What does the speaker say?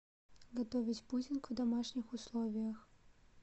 готовить пудинг в домашних условиях